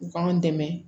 U k'an dɛmɛ